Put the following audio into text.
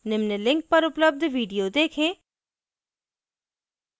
निम्न link पर उपलब्ध video देखें